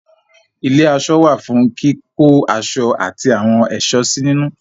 ilé-aṣọ wà fún kíkó aṣọ ati àwọn ẹ̀ṣọ́ sí nínú.